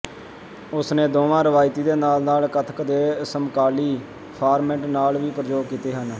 ਉਸਨੇ ਦੋਵਾਂ ਰਵਾਇਤੀ ਦੇ ਨਾਲ ਨਾਲ ਕਥਕ ਦੇ ਸਮਕਾਲੀ ਫਾਰਮੈਟ ਨਾਲ ਵੀ ਪ੍ਰਯੋਗ ਕੀਤੇ ਹਨ